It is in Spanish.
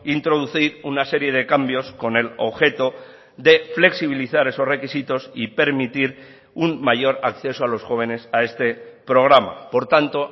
introducir una serie de cambios con el objeto de flexibilizar esos requisitos y permitir un mayor acceso a los jóvenes a este programa por tanto